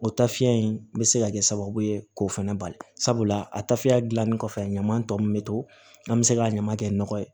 O taafiya in bɛ se ka kɛ sababu ye k'o fana bali sabula a tafeya dilannen kɔfɛ a ɲaman tɔ min bɛ to an bɛ se ka ɲama kɛ nɔgɔ ye